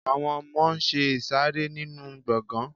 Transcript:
àwọn ọmọ n ṣe ìsàrẹ́ nínu gbọgán